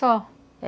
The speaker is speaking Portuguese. Só.